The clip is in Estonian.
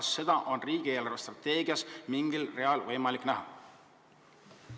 Kas seda on riigi eelarvestrateegias mingil real võimalik näha?